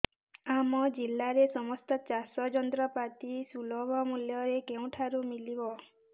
ଆମ ଜିଲ୍ଲାରେ ସମସ୍ତ ଚାଷ ଯନ୍ତ୍ରପାତି ସୁଲଭ ମୁଲ୍ଯରେ କେଉଁଠାରୁ ମିଳିବ